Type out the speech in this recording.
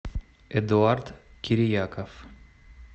эдуард кирияков